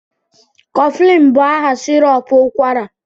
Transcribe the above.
Coflin bụ aha sirop ụkwara